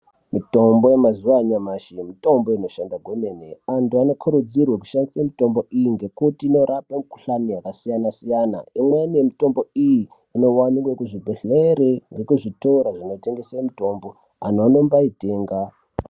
Mitombo yenazuva anyamashi mitombo inoshanda kwemene anthu anokurudzirwe kushandise mitombo iyi ngekuti inorapa mikuhlani yakasiyana-siyana, imweni mitombo iyi inowanika kuzvibhedhlere nekuzvitoro zvinotengese mitombo, anhu anombaitenga.